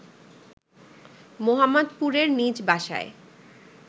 মোহাম্মদপুরের নিজ বাসায়